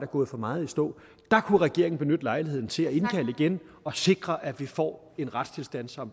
gået for meget i stå der kunne regeringen benytte lejligheden til at indkalde igen og sikre at vi får en retstilstand som